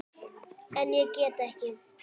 En ég get ekki.